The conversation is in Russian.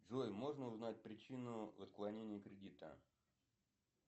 джой можно узнать причину отклонения кредита